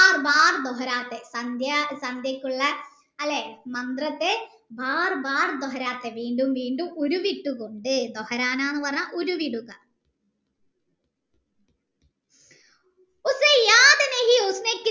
സന്ധ്യ സന്ധ്യകുള്ള അല്ലെ മന്ത്രത്തെ വീണ്ടും വീണ്ടും ഊരിവിട്ടു കൊണ്ട് കൊണ്ട് എന്ന് പറഞ്ഞാൽ ഉരുവിടുക